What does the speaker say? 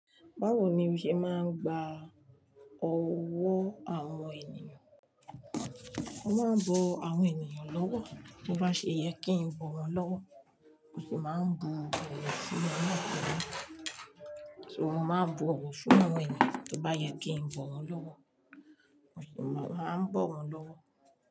Báwo ni o ṣe máa ń gba ọ̀wọ́ àwọn ènìyàn? Mo máa ń bọ àwọn ènìyàn lọ́wọ́, bí ó bá ṣe yẹ kí n bọ̀ wọ́n lọ́wọ́, mo sì máa ń bu ọ̀wọ̀ fún wọn na pelu. So mo máa ń bọ ọ̀wọ̀ fún àwọn ènìyàn tí ó bá yẹ kí n bọ wọ́n lọ́wọ́, mo sì máa ń bọ̀ wọ́n lọ́wọ́